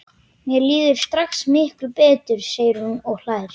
Mér líður strax miklu betur, segir hún og hlær.